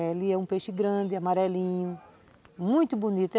Ele é um peixe grande, amarelinho, muito bonito.